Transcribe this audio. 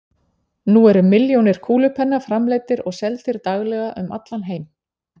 nú eru milljónir kúlupenna framleiddir og seldir daglega um allan heim